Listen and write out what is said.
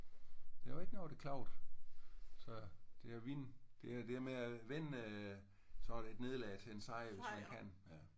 Der var ikke nogen der klagede. Så det er at vinde. Det er det med at vende øh sådan et nederlag til en sejr hvis man kan